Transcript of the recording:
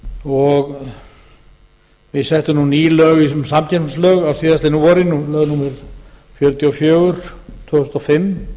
og við settum nú ný lög í þessum samkeppnislögum á síðastliðnu vori lög númer fjörutíu og fjögur tvö þúsund og fimm